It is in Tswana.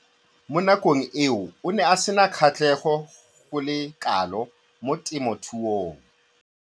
Mo nakong eo o ne a sena kgatlhego go le kalo mo temothuong.